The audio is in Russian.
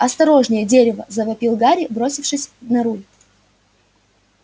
осторожнее дерево завопил гарри бросившись на руль